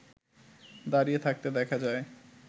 দাঁড়িয়ে থাকতে দেখা যায়